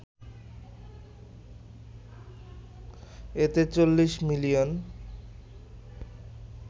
এতে ৪০ মিলিয়ন